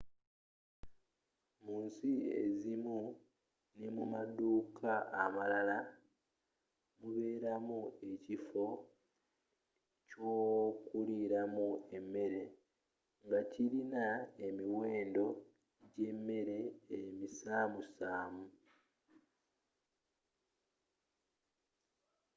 mu nsi ezimu ne mu maduka amalala mubelamu ekifo kyokulilamu emere nga kilina emiwendo gyemele emisamu samu